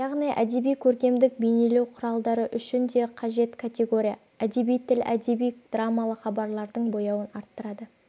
яғни әдеби көркемдік бейнелеу құралдары үшін де қажет категория әдеби тіл әдеби драмалы хабарлардың бояуын арттырады